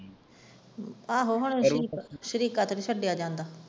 ਆਹੋ ਹੁਣ ਸਰੀਕਾ ਤੇ ਨੀ ਛੱਡਿਆ ਜਾਂਦਾ।